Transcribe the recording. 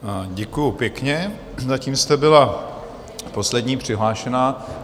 Děkuju pěkně, zatím jste byla poslední přihlášená.